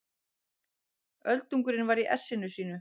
Öldungurinn var í essinu sínu.